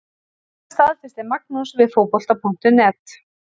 Þetta staðfesti Magnús við Fótbolta.net.